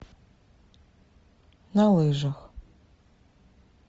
на лыжах